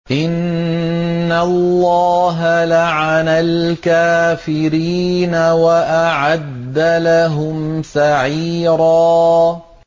إِنَّ اللَّهَ لَعَنَ الْكَافِرِينَ وَأَعَدَّ لَهُمْ سَعِيرًا